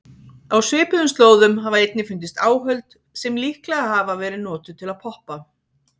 Á svipuðum slóðum hafa einnig fundist áhöld sem líklega hafa verið notuð til að poppa.